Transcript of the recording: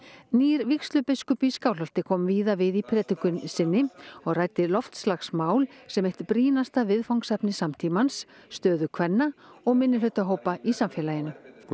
nýr vígslubiskup í Skálholti kom víða við í predikun sinni og ræddi loftslagsmál sem eitt brýnasta viðfangsefni samtímans stöðu kvenna og minnihlutahópa í samfélaginu